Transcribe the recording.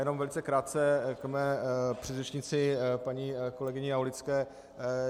Jenom velice krátce k mé předřečnici paní kolegyni Aulické.